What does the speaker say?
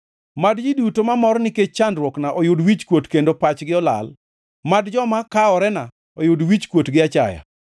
Mad ji duto mamor nikech chandruokna oyud wichkuot kendo pachgi olal; mad joma kaworena oyud wichkuot gi achaya.